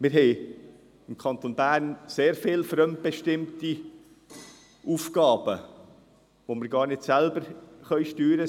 Wir haben im Kanton Bern sehr viele fremdbestimmte Aufgaben, welche wir nicht selbst steuern können.